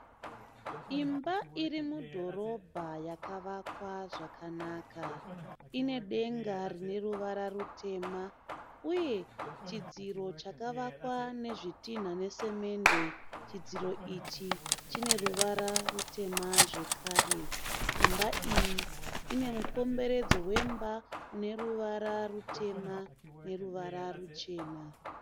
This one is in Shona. Imba iri mudhorobha yakavakwa zvakanaka. Ine denga rine ruvara rutema uye chidziro chakavakwa nezvitinha nesemende. Chidziro ichi chine ruvara rutema zvekare. Imba iyi ine mukomberedzo wemba une ruvara rutema neruvara ruchena.